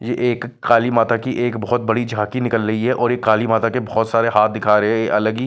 ये एक काली माता की एक बहुत बड़ी झाँकी निकल रही है और काली माता के बहुत सारे हाथ दिखा रहे हैं अलग ही---